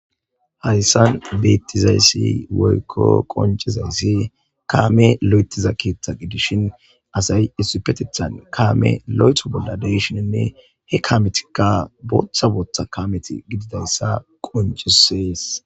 Haysan betizays woyko qoncizays kame lo'ethiza keetha gidishn asat issippetethan lo'etho bolla de'ishininne he kameti bootha bootha gididaysa qoncises.